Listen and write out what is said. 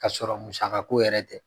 Ka sɔrɔ musaka ko yɛrɛ tɛ